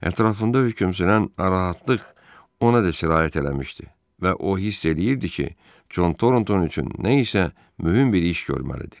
Ətrafında hökm sürən narahatlıq ona da sirayət eləmişdi və o hiss eləyirdi ki, Con Tornton üçün nə isə mühüm bir iş görməlidir.